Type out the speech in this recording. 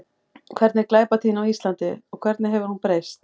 Hver er glæpatíðni á Íslandi og hvernig hefur hún breyst?